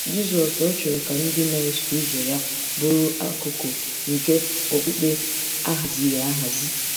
Jizọs ọ̀ chọrọ ka ndị na-eso ụzọ ya bụrụ akụkụ nke okpukpe a haziri ahazi?